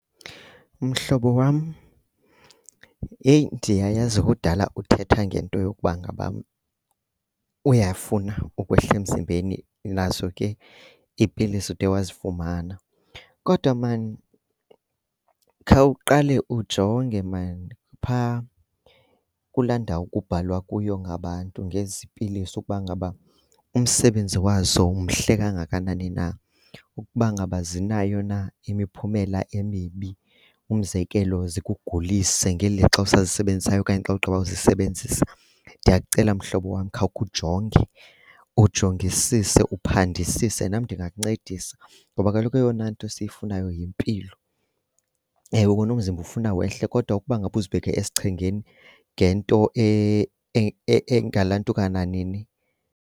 Mhlobo wam, heyi ndiyayazi kudala uthetha ngento yokuba ngaba uyafuna ukwehla emzimbeni nazo ke iipilisi ude wazifumana. Kodwa maan khawuqale na ujonge maan phaa kulaa ndawo kubhalwa kuyo ngabantu ngezi pilisi ukuba ngaba umsebenzi wazo mhle kangakanani na, ukuba ngaba zinayo na imiphumela emibi. Umzekelo zikugulise ngeli lixa usazisebenzayo okanye xa ugqiba uzisebenzisa. Ndiyakucela mhlobo wam, khawukhe ujonge, ujongisise uphandisise. Nam ndingakuncedisa ngoba kaloku eyona nto siyifunayo yimpilo. Ewe kona, umzimba ufuna wehle kodwa ukuba ngaba uzibeke esichengeni ngento engalantuka nanini.